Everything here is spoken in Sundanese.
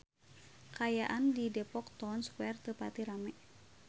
Kaayaan di Depok Town Square teu pati rame